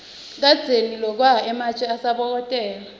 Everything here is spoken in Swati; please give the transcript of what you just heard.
kadzeni lokwa ematje asabokotela